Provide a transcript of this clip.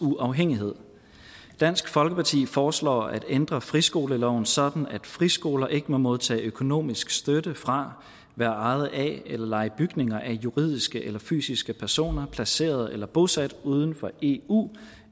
uafhængighed dansk folkeparti foreslår at ændre friskoleloven sådan at friskoler ikke må modtage økonomisk støtte fra være ejet af eller leje bygninger af juridiske eller fysiske personer placeret eller bosat uden for eu